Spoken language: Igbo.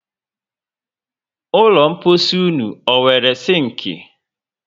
Ụlọ mposi ụnụ ọ nwéré sinki?